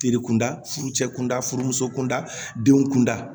Feere kunda furu cɛ kunda furumuso kun da denw kunda